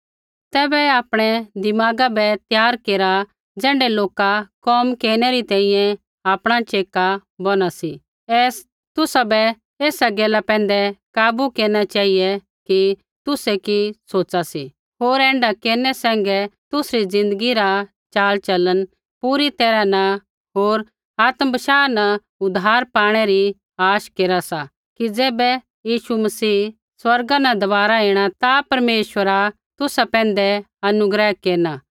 तैबै आपणै दिमागा बै त्यार केरा ज़ैण्ढै लोका कोम केरनै री तैंईंयैं आपणा च़ेका बौना सी ऐ सा तुसाबै ऐसा गैला पैंधै काबू केरना चेहिऐ की तुसै कि सोच़ा सी होर ऐण्ढा केरनै सैंघै तुसरी ज़िन्दगी रा चाल चलन पूरी तैरहा न होर आत्म बशाह न उद्धार पाणै री आश केरा सा कि ज़ैबै यीशु मसीह स्वर्गा न दबारा ऐणा ता परमेश्वरा तुसा पैंधै अनुग्रह केरना